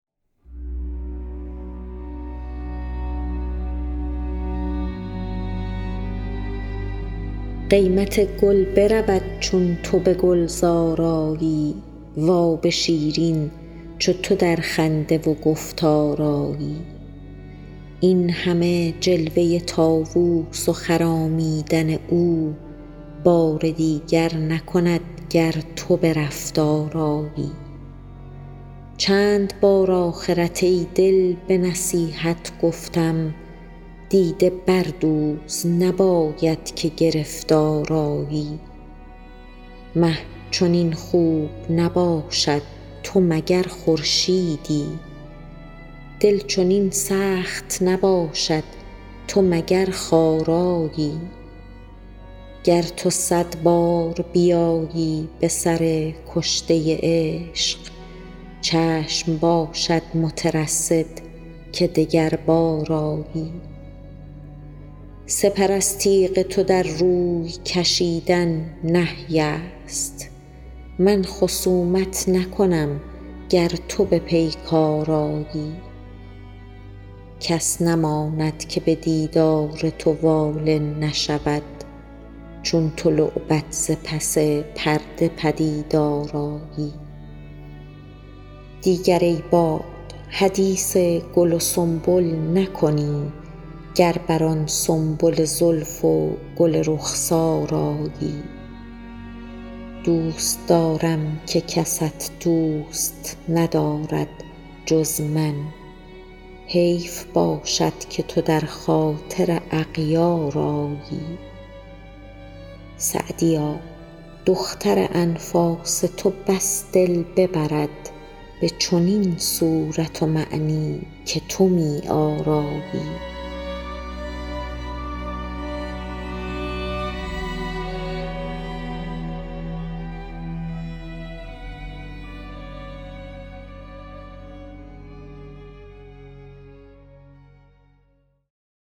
قیمت گل برود چون تو به گلزار آیی و آب شیرین چو تو در خنده و گفتار آیی این همه جلوه طاووس و خرامیدن او بار دیگر نکند گر تو به رفتار آیی چند بار آخرت ای دل به نصیحت گفتم دیده بردوز نباید که گرفتار آیی مه چنین خوب نباشد تو مگر خورشیدی دل چنین سخت نباشد تو مگر خارایی گر تو صد بار بیایی به سر کشته عشق چشم باشد مترصد که دگربار آیی سپر از تیغ تو در روی کشیدن نهی است من خصومت نکنم گر تو به پیکار آیی کس نماند که به دیدار تو واله نشود چون تو لعبت ز پس پرده پدیدار آیی دیگر ای باد حدیث گل و سنبل نکنی گر بر آن سنبل زلف و گل رخسار آیی دوست دارم که کست دوست ندارد جز من حیف باشد که تو در خاطر اغیار آیی سعدیا دختر انفاس تو بس دل ببرد به چنین صورت و معنی که تو می آرایی